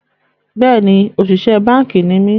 Bẹ́ẹ̀ni, òṣìṣẹ́ báànkì ni mí